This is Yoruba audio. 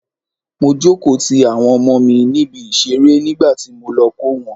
Mo jókòó ti àwọn ọmọ mi níbi ìṣeré nígbàtí mo lọ kó wọn.